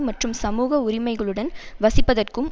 மற்றும் சமூக உரிமைகளுடன் வசிப்பதற்கும்